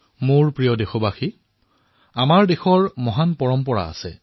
মোৰ মৰমৰ দেশবাসীসকল আমাৰ দেশৰ পৰম্পৰা মহান